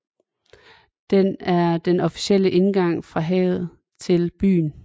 Den er den officielle indgang fra havet til byen